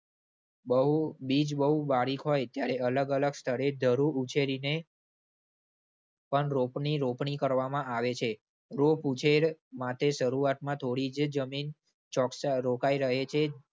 બહુ, બીજ બહુ બારીક હોય ત્યારે અલગ અલગ સ્થળે ધરું ઉછેરીને પણ રોપની રોપણી કરવામાં આવે છે. રોપ ઉંછેર માટે શરૂઆતમાં થોડી જ જમીન ચોકસારોકાઈ રહે છે.